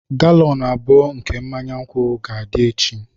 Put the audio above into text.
Galọn abụọ nke mmanya nkwụ ga-adị echi.